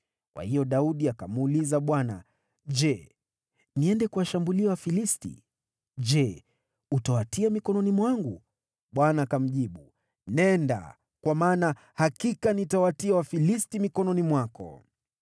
kwa hiyo Daudi akamuuliza Bwana , “Je, niende kuwashambulia Wafilisti? Je, utawatia mikononi mwangu?” Bwana akamjibu, “Nenda, kwa maana hakika nitawatia Wafilisti mikononi mwako.”